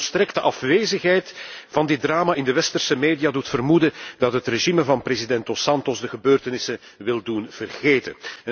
De volstrekte afwezigheid van dit drama in de westerse media doet vermoeden dat het regime van president Dos Santos de gebeurtenissen wil doen vergeten.